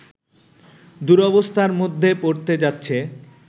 দুরবস্থার মধ্যে পড়তে যাচ্ছে